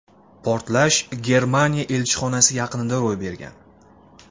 Portlash Germaniya elchixonasi yaqinida ro‘y bergan .